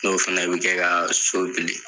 N'o fɛnɛ bi kɛ ka so bili.